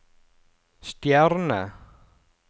stjerne